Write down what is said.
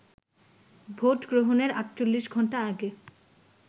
ভোটগ্রহণের ৪৮ ঘণ্টা আগে